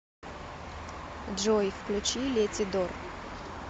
джой включи летидор